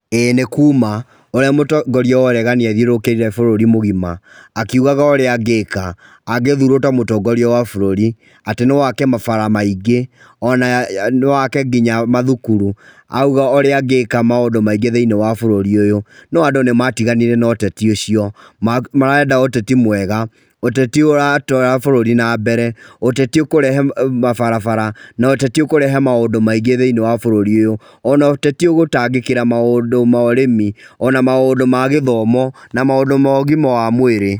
Ĩĩ nĩ kuma ũria mũtongoria wa ũregani athiũrũrũkĩte bũrũri mũgima akiugaga ũrĩa angĩka angĩthurwo ta mũtongoria wa bũrũri, atĩ no ake mabara maingĩ na no ake nginya macukuru na ũrĩa angĩka maũndũ maingĩ thĩinĩ wa bũrũri ũyũ. No andũ nĩmatiganire na ũteti ũcio marenda ũteti mwega ũteti ũratwara bũrũri na mbereũteti ũkũrehe mabarabara, ũteti ũkũrehe maũndũ maingĩ thĩinĩ wa bũrũri ũyũ ona ũteti ũgũtangĩkĩra maũndũ ma ũrĩmi ona maũndũ ma gĩthomo, ona maũndũ ma ũgima wa mwĩrĩ